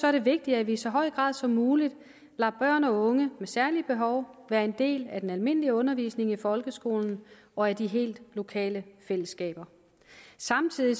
er det vigtigt at vi i så høj grad som muligt lader børn og unge med særlige behov være en del af den almindelige undervisning i folkeskolen og af de helt lokale fællesskaber samtidig